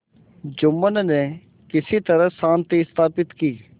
जुम्मन ने किसी तरह शांति स्थापित की